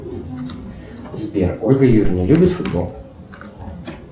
сбер ольга юрьевна любит футбол